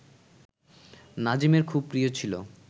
নাজিমের খুব প্রিয় ছিল